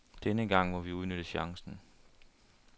Denne gang må vi udnytte chancen.